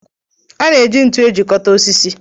A na-eji ntu ejikọta osisi.